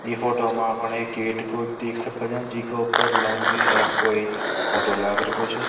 इ फोटो में अपने एक गेट को देख रहो छ जी के ऊपर एक लाउंड्री लैब को एक फोटो लागरो छ।